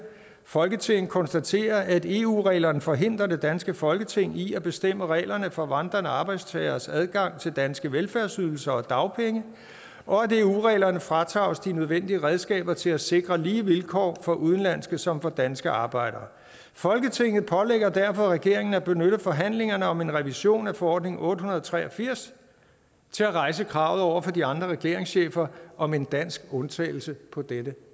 folketinget konstaterer at eu reglerne forhindrer det danske folketing i at bestemme reglerne for vandrende arbejdstageres adgang til danske velfærdsydelser og dagpenge og at eu reglerne fratager os de nødvendige redskaber til at sikre lige vilkår for såvel udenlandske som for danske arbejdere folketinget pålægger derfor regeringen at benytte forhandlingerne om en revision af forordning otte hundrede og tre og firs til at rejse kravet over for de andre regeringschefer om en dansk undtagelse på dette